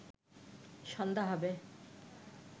সন্ধ্যা হবে